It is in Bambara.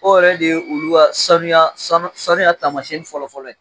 O yɛrɛ de ye olu ka sanuya sanu sanuya taamasiyɛn fɔlɔ fɔlɔ ye